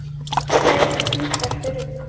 Það eru hvítar hurðir.